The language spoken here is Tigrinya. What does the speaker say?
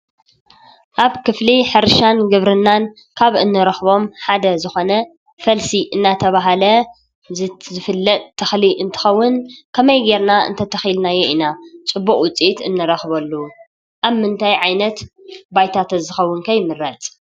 አብ ክፍሊ ሕርሻን ግብርናን ካብ እንረኽቦም ሓደ ዝኾነ ፈልሲ እናተበሃለ ዝፍለጥ ተኽሊ እንትኸውን ከመይ ገይርና እንተኺልናዮ ኢና ፅቡቅ ውፅኢት እንረኽበሉ? አብ ምንታይ ዓይነት ባይታ ተዝኸውን ከ ይምረፅ?